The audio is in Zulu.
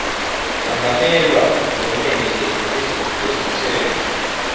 angamelwa ngomele ezomthetho